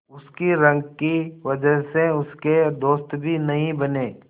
उसकी रंग की वजह से उसके दोस्त भी नहीं बने